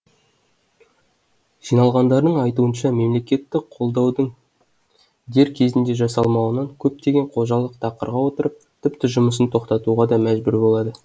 жиналғандардың айтуынша мемлекеттік қолдаудың дер кезінде жасалмауынан көптеген қожалық тақырға отырып тіпті жұмысын тоқтатуға да мәжбүр болады